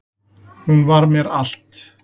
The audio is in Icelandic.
Hún var mér allt